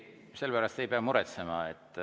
Selle pärast ei pea muretsema.